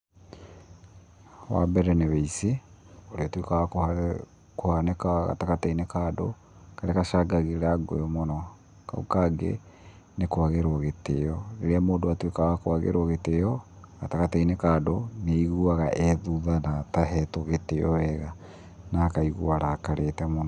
Wa mbere nĩ ũici, ũrĩa ũtuĩkaga wa kũhanĩka gatagatĩ ka andũ, karĩa gacangagĩra ngũĩ mũno. Kau kangĩ nĩ kwagĩrwo gĩtĩo. Rĩrĩa mũndũ atuĩka wa kũagĩrwo gĩtĩi gatagatĩ ka andũ, nĩ aiguaga ethutha na atahetwo gĩtĩo wega, na akaigua arakarĩte mũno.